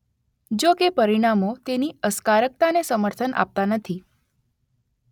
જો કે પરિણામો તેની અસકારકતાને સમર્થન આપતા નથી.